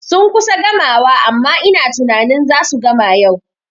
Sun kusa gamawa amma ina tunanin zasu gama yau